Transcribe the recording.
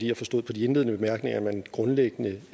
jeg forstod på de indledende bemærkninger at man grundlæggende